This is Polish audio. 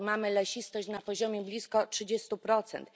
Mamy lesistość na poziomie blisko trzydziestu procent.